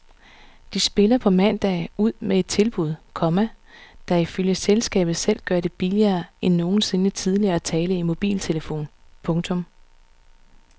De spiller på mandag ud med et tilbud, komma der ifølge selskabet selv gør det billigere end nogensinde tidligere at tale i mobiltelefon. punktum